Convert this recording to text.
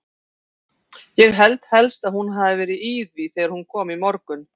Ég held helst að hún hafi verið í því þegar hún kom í morgun.